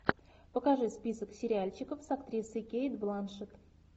покажи список сериальчиков с актрисой кейт бланшетт